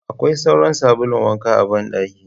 Akwai sauran sabulun wanka a ban dakin.